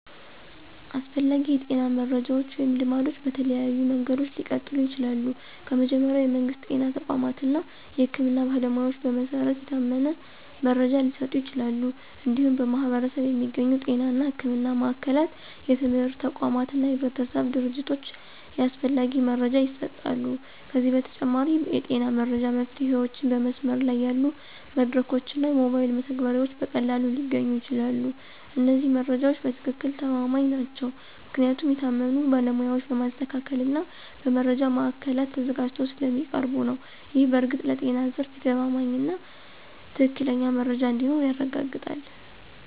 አስፈላጊ የጤና መረጃዎች ወይም ልማዶች በተለያዩ መንገዶች ሊቀጥሉ ይችላሉ። ከመጀመሪያ፣ የመንግስት ጤና ተቋማት እና የህክምና ባለሞያዎች በመሰረት የታመነ መረጃ ሊሰጡ ይችላሉ። እንዲሁም በማኅበረሰብ የሚገኙ ጤና እና ሕክምና ማዕከላት፣ የትምህርት ተቋማት እና የህብረተሰብ ድርጅቶች ያስፈላጊ መረጃ ይሰጣሉ። ከዚህ በተጨማሪ፣ የጤና መረጃ መፍትሄዎችን በመስመር ላይ ያሉ መድረኮች እና ሞባይል መተግበሪያዎች በቀላሉ ሊገኙ ይችላሉ። እነዚህ መረጃዎች በትክክል ተማማኝ ናቸው ምክንያቱም የታመኑ ባለሞያዎች በማስተካከል እና በመረጃ ማዕከላት ተዘጋጅተው ስለሚያቀርቡ ነው። ይህ በእርግጥ ለጤና ዘርፍ የተማማኝና ትክክለኛ መረጃ እንዲኖር ያረጋግጣል።